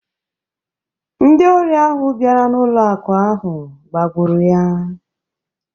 Ndị ori ahụ bịara n’ụlọ akụ̀ ahụ gbagburu ya